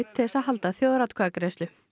til að halda þjóðaratkvæðagreiðslu